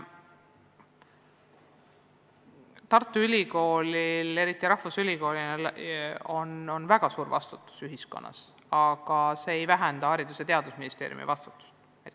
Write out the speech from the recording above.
Tartu Ülikoolil kui rahvusülikoolil on väga suur vastutus ühiskonnas, aga see ei vähenda Haridus- ja Teadusministeeriumi vastutust.